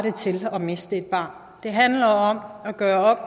til at miste et barn det handler om at gøre op